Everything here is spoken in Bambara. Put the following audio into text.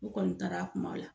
U kɔni taara a kumaw la.